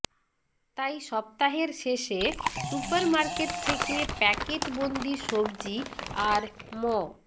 তাই সপ্তাহের শেষে সুপারমার্কেট থেকে প্যাকেটবন্দি সবজি আর ম